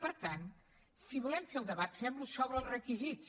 per tant si volem fer ne el debat fem lo sobre els requisits